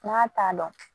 N'a t'a dɔn